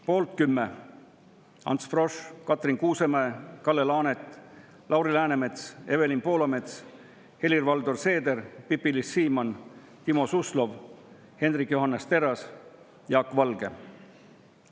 Poolt 10: Ants Frosch, Katrin Kuusemäe, Kalle Laanet, Lauri Läänemets, Evelin Poolamets, Helir-Valdor Seeder, Pipi-Liis Siemann, Timo Suslov, Hendrik Johannes Terras, Jaak Valge.